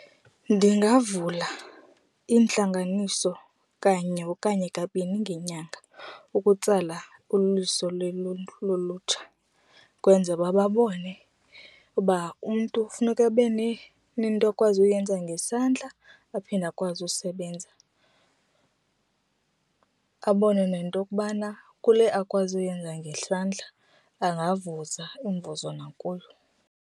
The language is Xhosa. Ndingavula iintlanganiso kanye okanye kabini ngenyanga ukutsala uliso lolutsha kwenzela uba babone uba umntu funeka nezinto akwazi uyenza ngesandla aphinde akwazi usebenza. Abone nento okubana kule akwazi uyenza ngesandla ungavuza umvuzo nakuyo.